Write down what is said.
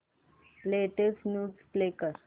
latest news play कर